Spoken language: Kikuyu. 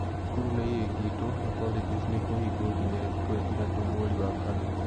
Cukuru nĩ ihingĩtwo na colleges nĩ ikũhingwo nginya thukũ ithatu mweri wa kana.